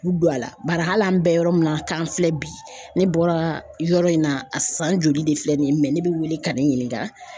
K'u don a la bari hali an bɛ yɔrɔ min na k'an filɛ bi ne bɔra yɔrɔ in na a san joli de filɛ nin ye mɛ ne bɛ wele ka ne ɲininga